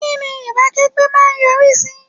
Kínni ìbákẹ́gbẹ́ má a ń yọrí sí?